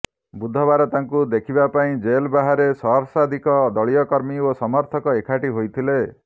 ବୁଧବାର ତାଙ୍କୁ ଦେଖିବା ପାଇଁ ଜେଲ ବାହାରେ ସହସ୍ରାଧିକ ଦଳୀୟ କର୍ମୀ ଓ ସମର୍ଥକ ଏକାଠି ହୋଇଥିଲେ